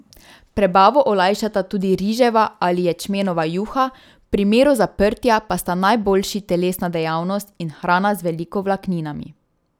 Prebavo olajšata tudi riževa ali ječmenova juha, v primeru zaprtja pa sta najboljši telesna dejavnost in hrana z veliko vlakninami.